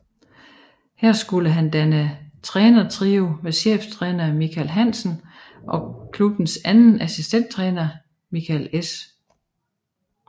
Her skulle han danne trænertrio med cheftræner Michael Hansen og klubbens anden assistenttræner Michael S